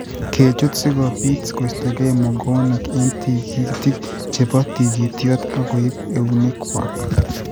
kechut:- si kobiit koistoegei mogoonik eng' tigitik che po tigityot, ak koip eunekwak.